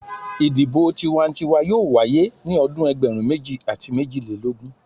Idibo tiwantiwa yoo waye ni ọdun ẹgbẹrun meji ati mejilelogun